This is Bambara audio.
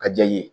A diya n ye